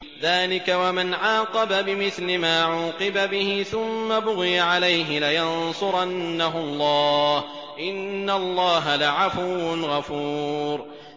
۞ ذَٰلِكَ وَمَنْ عَاقَبَ بِمِثْلِ مَا عُوقِبَ بِهِ ثُمَّ بُغِيَ عَلَيْهِ لَيَنصُرَنَّهُ اللَّهُ ۗ إِنَّ اللَّهَ لَعَفُوٌّ غَفُورٌ